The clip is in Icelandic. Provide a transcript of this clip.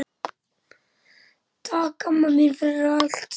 Takk, amma mín, fyrir allt.